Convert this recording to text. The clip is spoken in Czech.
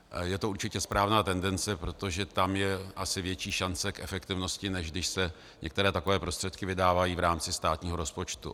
Je to určitě správná tendence, protože tam je asi větší šance k efektivnosti, než když se některé takové prostředky vydávají v rámci státního rozpočtu.